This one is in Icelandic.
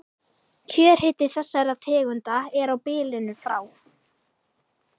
Kjörhiti þessara tegunda er á bilinu frá